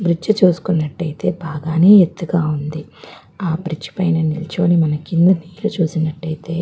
bridge చుసుకున్నట్టు అయితే బాగానే ఎత్తుగా ఉంది ఆ బ్రిడ్జి పైన నిల్చొని మనం కింద నీళ్ళు చూసినట్టు అయితే--